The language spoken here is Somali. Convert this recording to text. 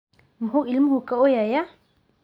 Muxuu ilmuhu ka ooyayaa?